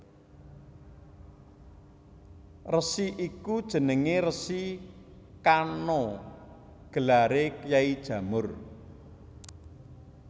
Resi iku jenenge Resi Kano gelare Kyai Jamur